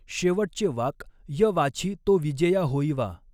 शेवटच़े वाक् य वाछि तो विजेया होईवा।